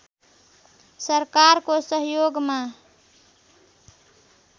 सरकारको सहयोगमा